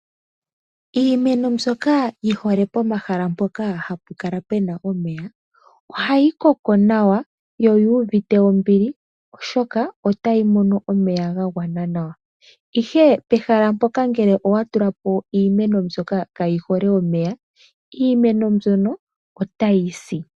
Iimeno mbyoka yihole pomahala mpoka hapu kala puna omeya, ohayi koko nawa , yo oyuuvite ombili ,oshoka otayi nu omeya gagwana nawa. Ihe pehala mpoka ngele owatula po iimeno mbyoka kaayi hole omeya, iimeno mbyono otayi si